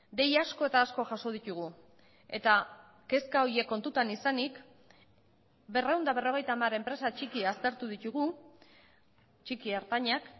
dei asko eta asko jaso ditugu eta kezka horiek kontutan izanik berrehun eta berrogeita hamar enpresa txiki aztertu ditugu txiki ertainak